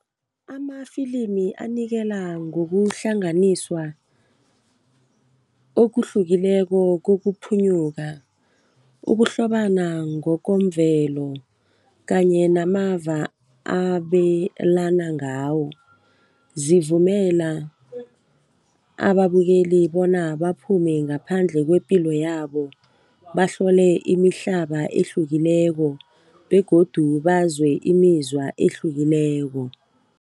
Amafilimi anikela ngokuhlanganiswa okuhlukileko kokuphunyuka. Ukuhlobana ngokomvelo kanye namava abelana ngawo zivumela ababukeli bona baphume ngaphandle kwepilo yabo, bahlole imihlaba ehlukileko begodu bazwe imizwa ehlukileko.